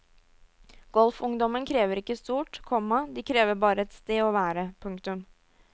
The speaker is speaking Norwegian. Golfungdommen krever ikke stort, komma de krever bare et sted å være. punktum